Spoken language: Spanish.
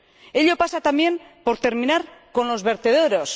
Ello pasa también por terminar con los vertederos.